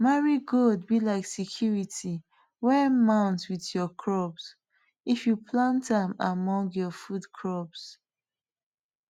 marigold be like security when mount with your crops if you plant am among your food crops